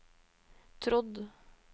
trodd